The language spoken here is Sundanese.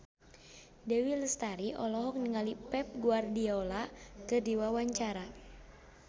Dewi Lestari olohok ningali Pep Guardiola keur diwawancara